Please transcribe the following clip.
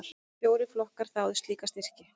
Fjórir flokkar þáðu slíka styrki.